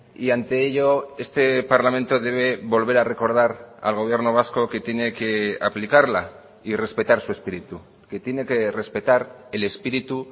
y ante ello este parlamento debe volver a recordar al gobierno vasco que tiene que aplicarla y respetar su espíritu que tiene que respetar el espíritu